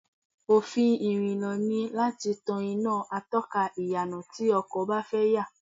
Òfin ìrìnnà ni láti tan iná atọ́ka ìyànà tí ọkọ̀ bá fẹ́ yà